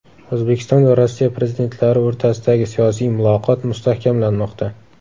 O‘zbekiston va Rossiya prezidentlari o‘rtasidagi siyosiy muloqot mustahkamlanmoqda.